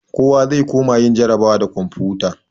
Kowa zai koma yin jarrabawa da komfuta.